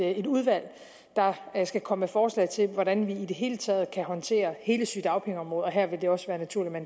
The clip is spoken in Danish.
et udvalg der skal komme med forslag til hvordan vi i det hele taget kan håndtere hele sygedagpengeområdet og her vil det også være naturligt at